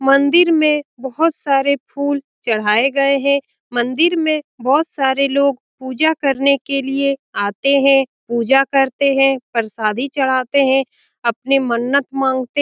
मंदिर में बहुत सारे फूल चढ़ाये गए हैं मंदिर में बहुत सारे लोग पूजा करने के लिए आते है पूजा करते है प्रसादी चढ़ाते है अपनी मन्नत मांगते --